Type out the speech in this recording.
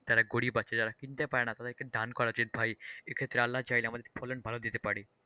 যারা গরিব আছে যারা কিনতে পারেনা তাদেরকে দান করা যেত ভাই, এক্ষেত্রে আল্লাহই চাইলে আমাদের ফলন ভালো দিতে পারে,